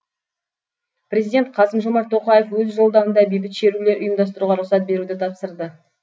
президент қасым жомарт тоқаев өз жолдауында бейбіт шерулер ұйымдастыруға рұқсат беруді тапсырды